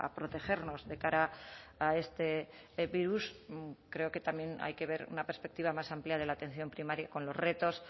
protegernos de cara a este virus creo que también hay que ver una perspectiva más amplia de la atención primaria con los retos